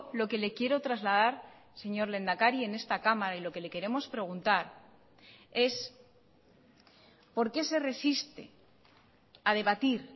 lo que le quiero trasladar señor lehendakari en esta cámara y lo que le queremos preguntar es por qué se resiste a debatir